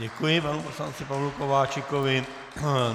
Děkuji panu poslanci Pavlu Kováčikovi.